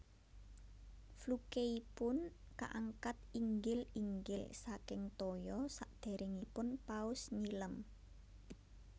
Flukeipun kaangkat inggil inggil saking toya sadéréngipun paus nyilem